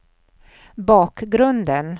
bakgrunden